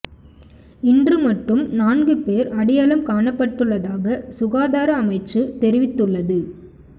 இன்று மட்டும் நான்கு பேர் அடையாளம் காணப்பட்டுள்ளதாக சுகாதார அமைச்சு தெரிவித்துள்ளது